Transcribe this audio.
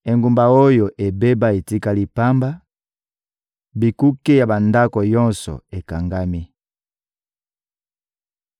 Engumba oyo ebeba etikali pamba, bikuke ya bandako nyonso ekangami.